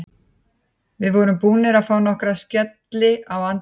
Við vorum búnir að fá nokkra skelli í andlitið.